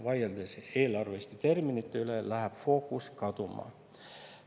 Vaieldes eelarveliste terminite üle, läheb fookus kaduma.